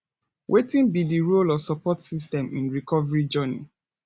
wetin be di role of support system in recovery journey